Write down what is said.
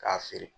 K'a feere